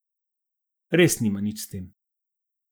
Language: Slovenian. Res nima nič s tem.